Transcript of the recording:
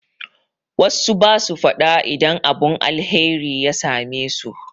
Wassu basu faɗa idan abun alheri ya same su